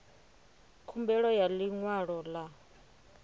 khumbelo ya ḽi ṅwalo ḽa